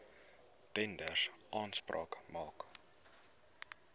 tenders aanspraak maak